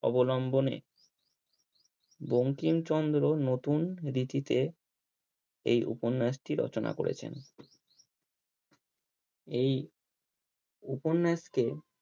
অবলম্বনে বঙ্কিমচন্দ্র নতুন ঋতিতে এই উপন্যাসটি রচনা করেছেন এই উপন্যাসকে